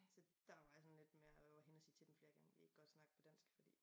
Så der var jeg sådan lidt med og være henne og sige til dem flere gange kan i ikke godt snakke på dansk fordi